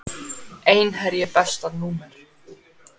Einherji Besta númer?